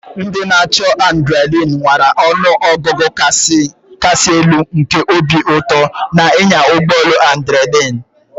Ndị na-achọ adrenaline nwara ọnụ ọgụgụ kasị elu nke obi ụtọ na ịnya ụgbọ elu adrinalin.